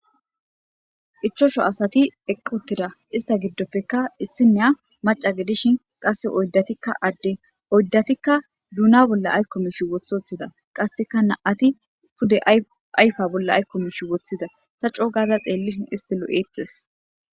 ichosho asati eqqutira ista giddoppeka issineya maca gidishin qasse oyddatikka adde oyddatikka duuna bolla aykko mish wothothida qasseka naati pude ayfa bolla aykko mish woththida ta coo gaaza xeellishin istilo eettes